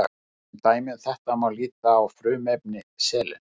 sem dæmi um þetta má líta á frumefni selen